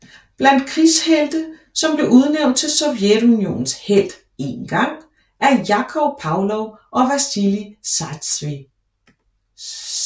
Blandt krigshelte som blev udnævnt til Sovjetunionens Helt en gang er Jakov Pavlov og Vasilij Zajtsev